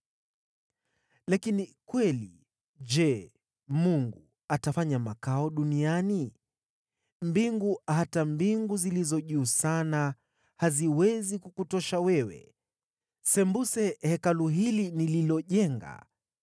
“Lakini kweli, je, Mungu atafanya makao duniani na wanadamu? Mbingu, hata mbingu zilizo juu sana, haziwezi kukutosha wewe. Sembuse Hekalu hili nililojenga!